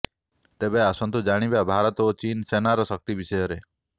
ତେବେ ଆସନ୍ତୁ ଜାଣିବା ଭାରତ ଓ ଚୀନ ସେନାର ଶକ୍ତି ବିଷୟରେ